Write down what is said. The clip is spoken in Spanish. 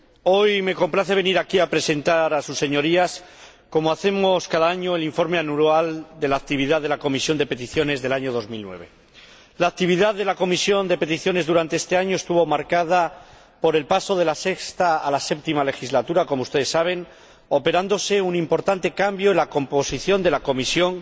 hoy me complace venir aquí a presentar a sus Señorías, como hacemos cada año, el informe anual de la actividad de la Comisión de Peticiones del año 2009. La actividad de la Comisión de Peticiones durante este año estuvo marcada por el paso de la sexta a la séptima legislatura, como ustedes saben, lo que supuso un importante cambio en la composición de la comisión,